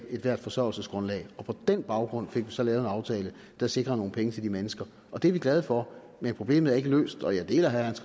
ethvert forsørgelsesgrundlag og på den baggrund fik vi så lavet en aftale der sikrer nogle penge til de mennesker og det er vi glade for men problemet er ikke løst og jeg deler herre hans